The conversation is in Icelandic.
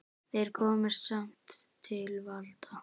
Þeir komust samt til valda.